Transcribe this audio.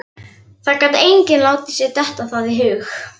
Það gat enginn látið sér detta það í hug.